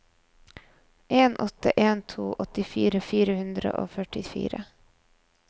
en åtte en to åttifire fire hundre og førtifire